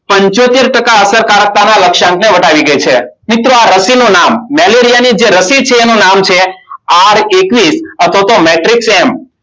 પંચોતેર ટકા અસરકારક લક્ષ્યાંક ને વટાવી ગઈ છે. મિત્રો આ રસી નું નામ મેલેરિયા ની જે રસી છે એનું નામ છે, આર એકવીસ અથવા તો મેટ્રિક્સ એમ.